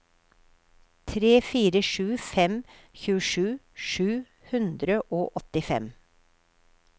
tre fire sju fem tjuesju sju hundre og åttifem